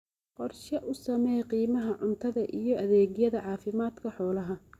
Qorshe u samee qiimaha cuntada iyo adeegyada caafimaadka xoolaha.